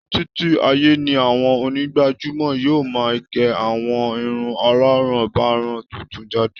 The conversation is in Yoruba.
Títí ayé ni àwọn onígbàjámọ̀ yóò máa gé àwọn irun aláràǹbarà tuntun jáde